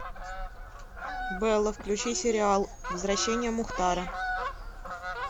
белла включи сериал возвращение мухтара